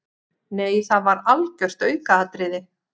Nei það var algjört aukaatriði.